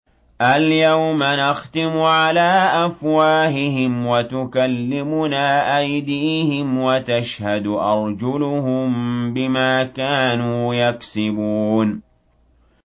الْيَوْمَ نَخْتِمُ عَلَىٰ أَفْوَاهِهِمْ وَتُكَلِّمُنَا أَيْدِيهِمْ وَتَشْهَدُ أَرْجُلُهُم بِمَا كَانُوا يَكْسِبُونَ